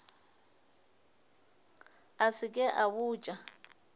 a se ke a botša